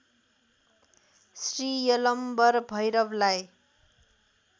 Shri Yalambar भैरवलाई